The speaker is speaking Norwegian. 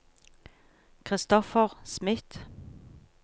Christopher Smith